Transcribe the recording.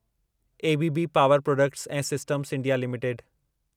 ABB power products ऐं systems India limited